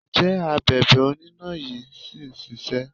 Ǹjẹ́ Abèbè oníná yí ṣì ń ṣisẹ́?